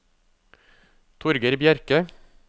Torgeir Bjerke